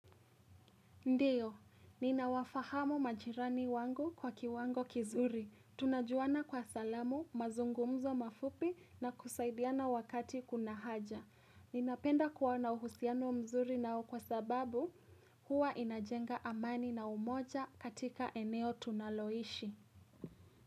Ndio, nina wafahamu majirani wangu kwa kiwango kizuri. Tunajuana kwa salamu, mazungumzo mafupi na kusaidiana wakati kuna haja. Ninapenda kuwa na uhusiano mzuri nao kwa sababu huwa inajenga amani na umoja katika eneo tunaloishi.